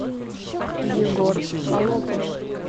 егор холопов